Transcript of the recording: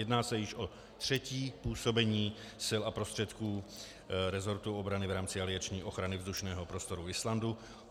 Jedná se již o třetí působení sil a prostředků resortu obrany v rámci alianční ochrany vzdušného prostoru Islandu.